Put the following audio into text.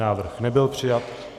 Návrh nebyl přijat.